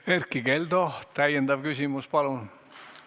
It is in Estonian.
Erkki Keldo, täiendav küsimus, palun!